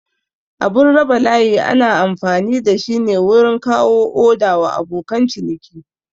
Abun raba layi ana amfani dashi ne wurin kawo oda wa abokan ciniki